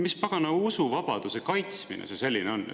Mis pagana usuvabaduse kaitsmine see selline on?